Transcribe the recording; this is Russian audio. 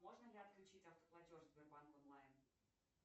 можно ли отключить автоплатеж сбербанк онлайн